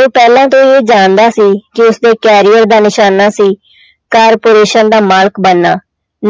ਉਹ ਪਹਿਲਾਂ ਤੋਂ ਇਹ ਜਾਣਦਾ ਸੀ ਕਿ ਉਸਦੇ career ਦਾ ਨਿਸ਼ਾਨਾ ਸੀ corporation ਦਾ ਮਾਲਕ ਬਣਨਾ